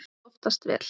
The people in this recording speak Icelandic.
Það tókst oftast vel.